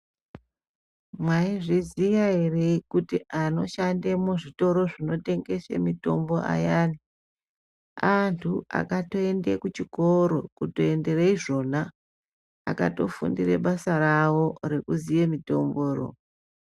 Maizviziya ere kuti anoshanda muzvitoro zvinotengese mitombo ayani,.antutu akatoende kuchikoro kutoendere izvona akatofundire basa ravo kuziye mitomboro.